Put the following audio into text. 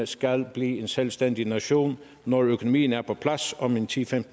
skal blive en selvstændig nation når økonomien er på plads om ti til